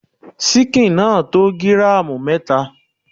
Síkìn náà tó gíràmù mẹta.